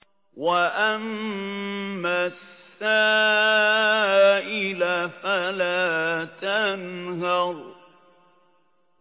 وَأَمَّا السَّائِلَ فَلَا تَنْهَرْ